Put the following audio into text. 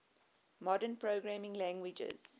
modern programming languages